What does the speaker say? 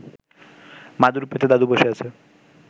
মাদুর পেতে দাদু বসে আছে